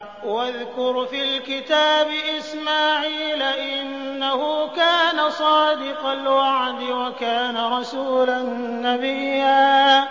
وَاذْكُرْ فِي الْكِتَابِ إِسْمَاعِيلَ ۚ إِنَّهُ كَانَ صَادِقَ الْوَعْدِ وَكَانَ رَسُولًا نَّبِيًّا